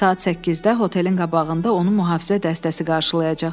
Saat 8-də otelin qabağında onu mühafizə dəstəsi qarşılayacaq.